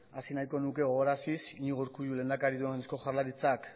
hasi nahiko nuke ohoraraziz iñigo urkullu lehendakari duen eusko jaurlaritzak